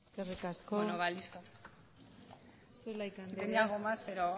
eskerrik asko zulaika andrea tenía algo más pero